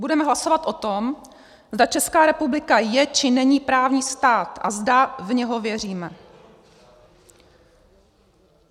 Budeme hlasovat o tom, zda Česká republika je, či není právní stát a zda v něj věříme.